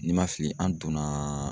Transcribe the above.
Ni ma fili an donnaaa